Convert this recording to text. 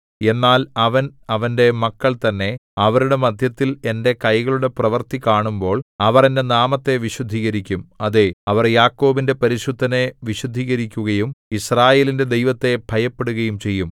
എന്നാൽ അവൻ അവന്റെ മക്കൾതന്നെ അവരുടെ മദ്ധ്യത്തിൽ എന്റെ കൈകളുടെ പ്രവൃത്തി കാണുമ്പോൾ അവർ എന്റെ നാമത്തെ വിശുദ്ധീകരിക്കും അതേ അവർ യാക്കോബിന്റെ പരിശുദ്ധനെ വിശുദ്ധീകരിക്കുകയും യിസ്രായേലിന്റെ ദൈവത്തെ ഭയപ്പെടുകയും ചെയ്യും